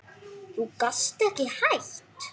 Þú gast ekki hætt?